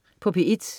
P1: